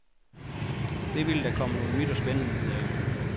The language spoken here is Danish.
Det ville der komme noget nyt og spændende ud af.